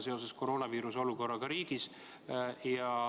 See on tema õigus, mitte kohustus.